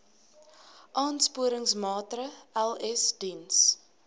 aansporingsmaatre ls diens